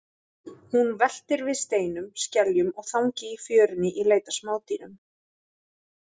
Hún veltir við steinum, skeljum og þangi í fjörunni í leit að smádýrum.